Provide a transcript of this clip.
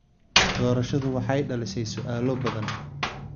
Doorashadu waxay dhalisay su'aalo badan.